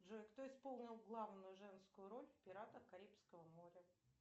джой кто исполнил главную женскую роль в пиратах карибского моря